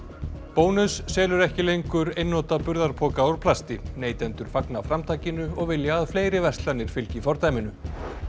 bónus selur ekki lengur einnota burðarpoka úr plasti neytendur fagna framtakinu og vilja að fleiri verslanir fylgi fordæminu